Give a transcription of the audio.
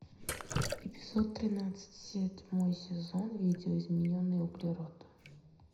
эпизод тринадцать седьмой сезон видоизмененный углерод